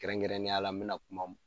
Kɛrɛn kɛrɛnnenya la n me na kuma